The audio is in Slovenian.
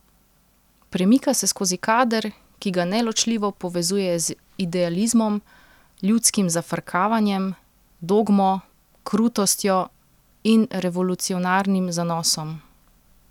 Premika se skozi kader, ki ga neločljivo povezuje z idealizmom, ljudskim zafrkavanjem, dogmo, krutostjo in revolucionarnim zanosom.